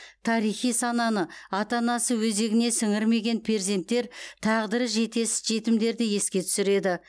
тарихи сананы ата анасы өзегіне сіңірмеген перзенттер тағдыры жетесіз жетімдерді еске түсіреді